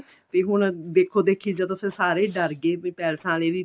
ਤੇ ਹੁਣ ਦੇਖੋ ਦੇਖੀ ਚ ਜਦੋਂ ਸਾਰੇ ਹੀ ਡਰ ਗਏ ਪੈਲਸਾਂ ਆਲੇ ਵੀ